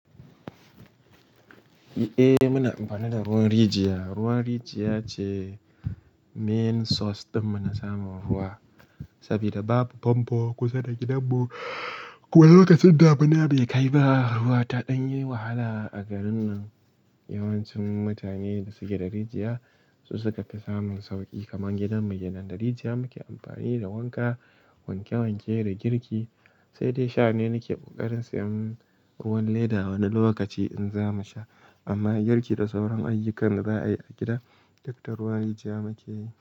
Eh muna amfani da ruwan rijiya. Ruwan rijiya ce main source dinmu na samun ruwa saboda babu famfo kusa da gidan mu. Wani lokacin da abun bai kai ba, ruwa taɗan yi wahala a garin nan. Yawancin mutane da suke da rijiya su suka fi samun sauƙi kaman gidan mu. Gidan da rijiya muke amfani da wanka, wanke wanke da girki. Sai dai sha ne nake kokarin siyan ruwan leda wani lokaci in za mu sha. Amma girki da sauran ayyukan da za a yi a gida, duk da ruwan rijiya muke yi.